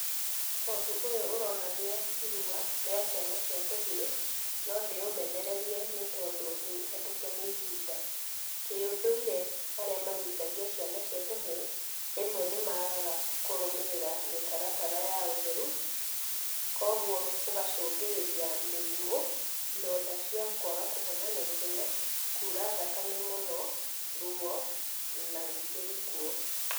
Ũndũ ũyũ ũronania irua, rĩa ciana cia tũhĩ. No ndĩũmenererie nĩ tondũ nĩmũhetũke nĩ ihinda. Kĩũndũire arĩa maruithagia ciana cia tũhĩ, rĩmwe nĩmagaga kũrũmĩrĩra mĩtaratara ya ũtheru, kwoguo ũgacũngĩrĩria mĩrimũ, ironda cia kwaga kũhona, kuura thakame mũno, ruwo, na rĩngĩ gĩkuũ.